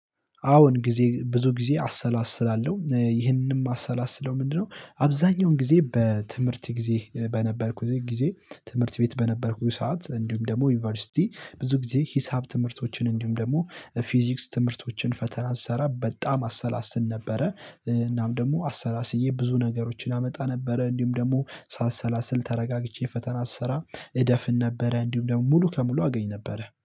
አሁን ጊዜ ብዙ ጊዜ አሰላስላለሁ ይሄንንም ማሰላስለው ምንድነው? አብዛኛውን ጊዜ በትምህርት ጊዜ በነበርኩኝ ጊዜ ትምህርት ቤት በነበርኩኝ ሰዓት እንዲሁም ደግሞ ዩኒቨርሲቲ ብዙ ጊዜ ሂሳብ ትምህርቶችን እንዲሁም ደግሞ ፊዚክስ ትምህርቶችን ፈተና ስሰራ በጣም አሰላስል ነበረ እናም ደግሞ አሰላስዬ ብዙ ነገሮችን አመጣ ነበረ። እንዲሁም ደግሞ ሳሰላስል ተረጋግቼ ፈተና ስሰራ እደፍን ነበረ እንዲሁ ደግሞ ሙሉ ከሙሉ አገኝ ነበረ